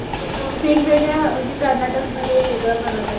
वेगवेगळ्या म्हणजे कर्नाटकमध्ये वेगळ बनवतात.